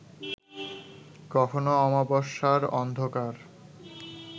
কখনো অমাবস্যার অন্ধকার